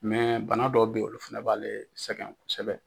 bana dɔw bɛ olu fana b'ale sɛgɛn kosɛbɛ